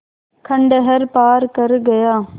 खंडहर पार कर गया